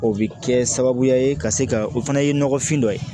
O bɛ kɛ sababuya ye ka se ka o fana ye nɔgɔfin dɔ ye